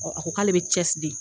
a ko k'ale bɛ cɛ di.